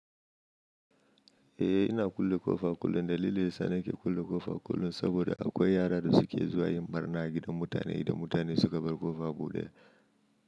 Eh ina kulle ƙofa kullum da lilin daya sannake kulle ƙofa kullum saboda akwai yara da suke zuwa yin ɓarna a gidan mutane da mutane suka bar ƙofa buɗe.